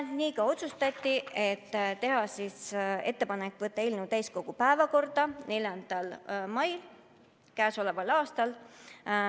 Lõpuks otsustati teha ettepanek võtta eelnõu täiskogu päevakorda 4. maiks käesoleval aastal.